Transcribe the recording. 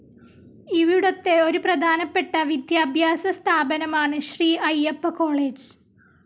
ഇവിടുത്തെ ഒരു പ്രധാനപ്പെട്ട വിദ്യാഭ്യാസ സ്ഥാപനമാണ് ശ്രീ അയ്യപ്പ കോളേജ്.